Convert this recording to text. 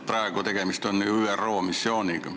Praegu on tegemist ju ÜRO missiooniga.